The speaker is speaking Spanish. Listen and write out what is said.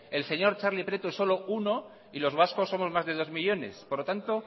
el señor txarli prieto es solo uno y los vascos somos más de dos millónes por lo tanto